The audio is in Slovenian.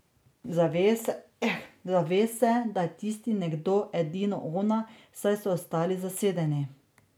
Zave se, da je tisti nekdo edino ona, saj so ostali zasedeni.